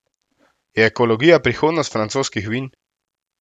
Je ekologija prihodnost francoskih vin?